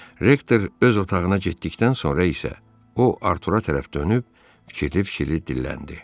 Rektor öz otağına getdikdən sonra isə o Artura tərəf dönüb fikirli-fikirli dilləndi: